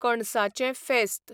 कणसांचें फेस्त